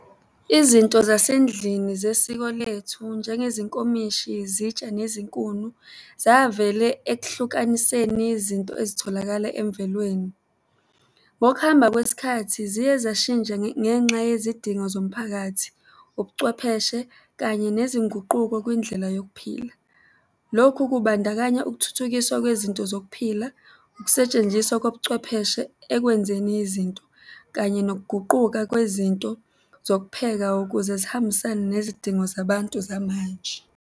Izinto zasendlini zesiko lethu, njengezinkomishi, izitsha, nezinkuni, zavela ekuhlukaniseni izinto ezitholakala emvelweni. Ngokuhamba kwesikhathi ziyezashintsha ngenxa yezidingo zomphakathi, ubuchwepheshe kanye nezinguquko kwindlela yokuphila. Lokhu kubandakanya ukuthuthukiswa kwezinto zokuphila, ukusetshenziswa kobuchwepheshe ekwenzeni izinto kanye nokuguquka kwezinto zokupheka ukuze zihambisane nezidingo zabantu zamanje.